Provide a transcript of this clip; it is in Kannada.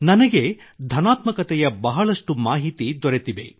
ನನಗೆ ಧನಾತ್ಮಕತೆಯ ಬಹಳಷ್ಟು ಮಾಹಿತಿ ದೊರೆತಿವೆ